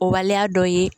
O waleya dɔ ye